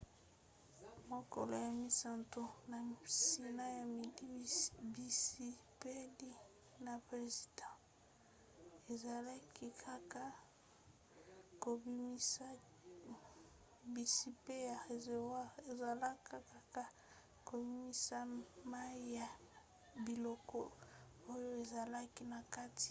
mokolo ya misato na nsima ya midi bizipeli ya réservoir ezalaki kaka kobimisa mai ya biloko oyo ezalaki na kati na yango